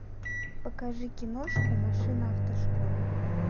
покажи киношку машина автошкола